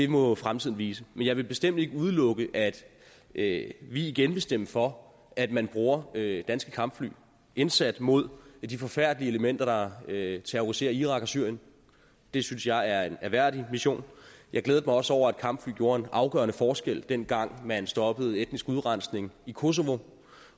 må fremtiden vise men jeg vil bestemt ikke udelukke at vi igen vil stemme for at man bruger danske kampfly i indsatsen mod de forfærdelige elementer der terroriserer irak og syrien det synes jeg er en ærværdig mission jeg glædede mig også over at kampfly gjorde en afgørende forskel dengang man stoppede etnisk udrensning i kosovo